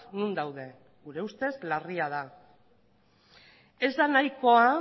non daude gure ustez larria da ez da nahikoa